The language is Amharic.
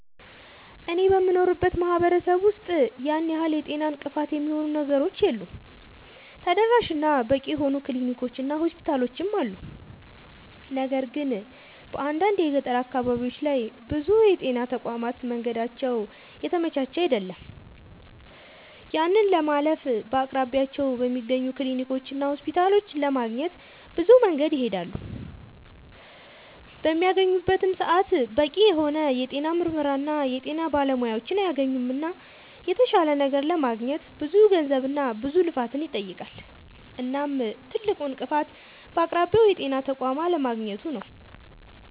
አኔ በምኖርበት ማህበረሰብ ውስጥ ያን ያህል የጤና እንቅፋት የሚሆኑ ነገሮች የሉም ተደራሽ እና በቂ የሆኑ ክሊኒኮች እና ሆስፒታሎችም አሉ። ነገር ግን በአንዳንድ የገጠር አካባቢዎች ላይ ብዙ የጤና ተቋማት መንገዳቸው የተመቻቸ አይደለም። ያንን ለማለፍ በአቅራቢያቸው በሚገኙ ክሊኒኮችና ሆስፒታሎች ለማግኘት ብዙ መንገድን ይሄዳሉ። በሚያገኙበትም ሰዓት በቂ የሆነ የጤና ምርመራና የጤና ባለሙያዎችን አያገኙምና የተሻለ ነገር ለማግኘት ብዙ ገንዘብና ብዙ ልፋትን ይጠይቃል። እናም ትልቁ እንቅፋት በአቅራቢያው የጤና ተቋም አለማግኘቱ ነዉ